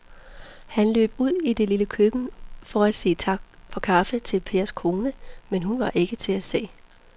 Han løb ud i det lille køkken for at sige tak for kaffe til Pers kone, men hun var ikke til at se.